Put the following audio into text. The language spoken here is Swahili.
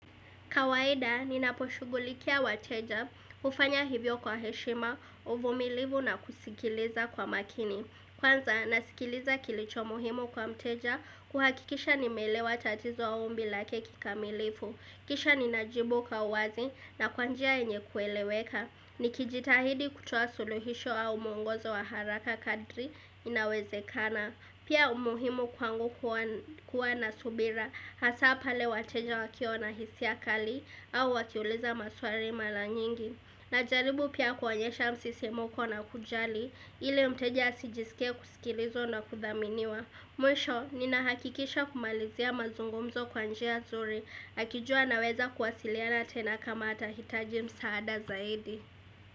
Kawaida ninaposhugulikia wateja ufanya hivyo kwa heshima uvumilivu na kusikiliza kwa makini kwanza nasikiliza kilicho muhimu kwa mteja kuhakikisha nimeelewa tatizo au ombi lake kikamilifu isha ninajibu kwa uwazi na kwa njia yenye kueleweka nikijitahidi kutoa suluhisho au muongozo wa haraka kadri inawezekana pia umuhimu kwangu kuwa na subira hasa pale wateja wakiwa na hisia kali au wakiuliza maswali mara nyingi najaribu pia kuonyesha msisimko na kujali ili mteja asijisikie kusikilizwa na kudhaminiwa mwisho ninahakikisha kumalizia mazungumzo kwa njia nzuri akijua anaweza kuwasiliana tena kama atahitaji msaada zaidi.